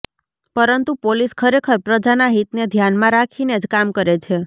પરંતુ પોલીસ ખરેખર પ્રજાના હિતને ધ્યાનમાં રાખીને જ કામ કરે છે